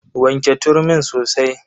Wanke turmin sosai.